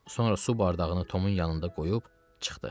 Sonra su bardağını Tomun yanında qoyub çıxdı.